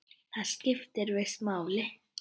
Það skipti víst máli.